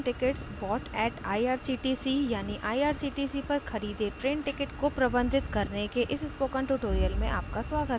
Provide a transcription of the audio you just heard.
managing train tickets bought at irctc यानिirctc पर खरीदे ट्रेन टिकट को प्रबंधित करने के इस स्पोकन ट्यूटोरियल में आपका स्वागत है